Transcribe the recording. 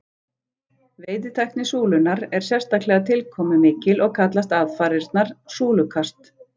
Veiðitækni súlunnar er sérstaklega tilkomumikil og kallast aðfarirnar súlukast.